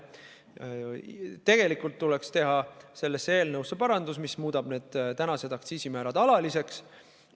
Tegelikult tuleks teha selles eelnõus parandus, mis muudab praegused aktsiisimäärad alaliseks.